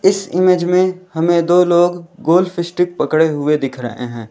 इस इमेज में हमें दो लोग गोल्फ स्टिक पकड़े हुए दिख रहे हैं।